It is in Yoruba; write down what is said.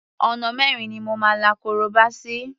Ọ̀nà mẹ́rin ni mo la korobá sí.